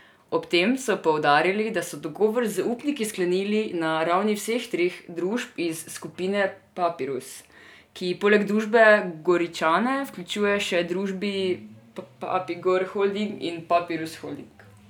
Ob tem so poudarili, da so dogovor z upniki sklenili na ravni vseh treh družb iz skupine Papirus, ki poleg družbe Goričane vključuje še družbi Papigor Holding in Papirus Holding.